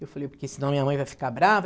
Eu falei, porque senão minha mãe vai ficar brava.